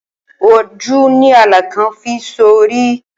Oju ni alakan fi so ori.